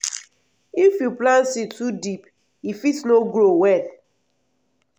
if you plant seed too deep e fit no grow well.